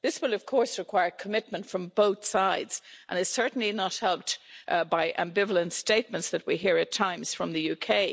This will of course require commitment from both sides and it's certainly not helped by ambivalent statements that we hear at times from the UK.